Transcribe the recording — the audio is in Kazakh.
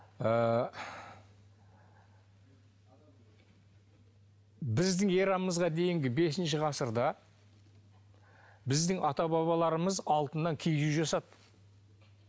ыыы біздің эрамызға дейінгі бесінші ғасырда біздің ата бабаларымыз алтыннан киіз үй жасады